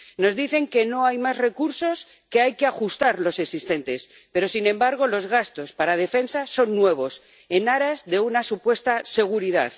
Nos dicen que no hay más recursos, que hay que ajustar los existentes pero, sin embargo, los gastos para defensa son nuevos, en aras de una supuesta seguridad.